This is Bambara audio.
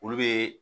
Olu be